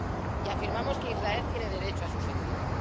Y afirmamos que Israel tiene derecho a su seguridad